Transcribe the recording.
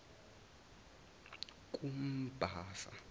kumbasa